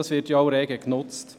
Diese wird auch rege genutzt.